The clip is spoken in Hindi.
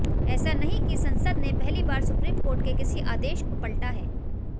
ऐसा नहीं कि संसद ने पहली बार सुप्रीम कोर्ट के किसी आदेश को पलटा है